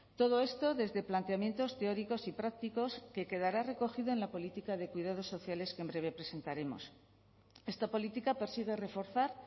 todo esto desde planteamientos teóricos y prácticos que quedará recogido en la política de cuidados sociales que en breve presentaremos esta política persigue reforzar